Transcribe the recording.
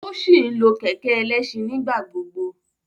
O si nlo kẹkẹ ẹlẹṣin nigbagbogbo